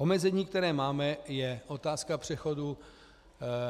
Omezení, které máme, je otázka přechodu